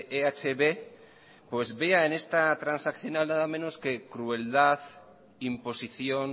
eh b pues vea en esta transaccional nada menos que crueldad imposición